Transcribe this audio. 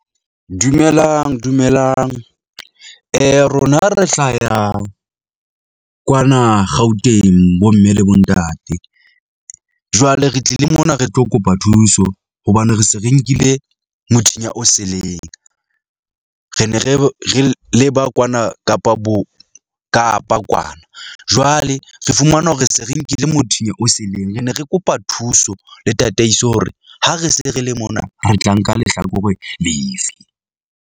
Dumelang, dumelang rona re hlaya kwana Gauteng bomme le bontate, jwale re tlile mona re tlo kopa thuso hobane re se re nkile mothinya o seleng. Re ne re re re leba kwana Kapa bo Kapa kwana. Jwale re fumana hore se re nkile mothinya o seleng. Re ne re kopa thuso le tataiso hore ha re se re le mona re tla nka lehlakore lefe.